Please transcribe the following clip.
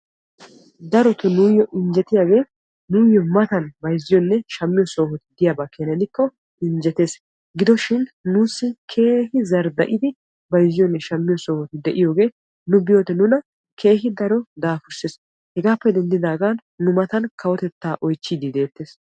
Darotoo nuyyoo injjetiyage nuyyo matan bayizziyanne shammiyo sohoy diikko injjetes. Gidoshin nuussi keehi zardda'idi bayizziyanne shammiyo sohoy de'iyoge nu biyode nuna keehi daro daafursses. Hegaappe denddaagan Nu matan kawotettay oyichchiiddi deettes.